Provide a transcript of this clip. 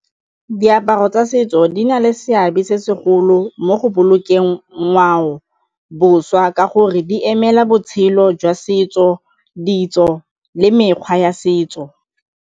Diaparo tsa setso di na le seabe se segolo mo go bolokeng ngwaoboswa ka gore di emela botshelo jwa setso, ditso le mekgwa ya setso.